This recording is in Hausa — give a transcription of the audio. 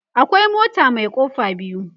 akwai mota Mai kofa biyu